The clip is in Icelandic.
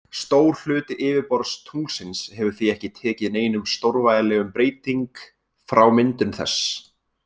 Stór hluti yfirborðs tunglsins hefur því ekki tekið neinum stórvægilegum breyting frá myndun þess.